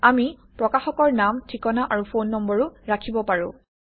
আমি প্ৰকাশকৰ নাম ঠিকনা আৰু ফোন নম্বৰো ৰাখিব পাৰোঁ